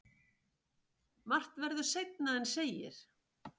Margt verður seinna en segir.